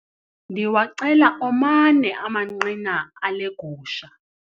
Ndiwacela omane amanqina ale gusha.